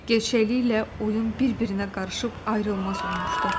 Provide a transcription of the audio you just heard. Gerçəkliklə oyun bir-birinə qarışıb ayrılmaz olmuşdu.